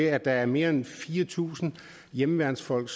at der er mere end fire tusind hjemmeværnsfolk